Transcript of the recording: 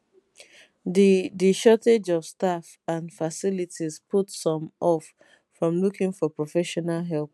di di shortage of staff and facilities put some off from looking for professional help